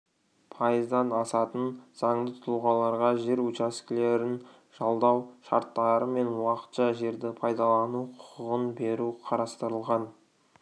пайыздан асатын заңды тұлғаларға жер учаскелерін жалдау шарттары мен уақытша жерді пайдалану құқығын беру қарастырылған